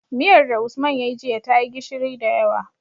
Miyar da usman yayi jiya tayi gishiri da yawa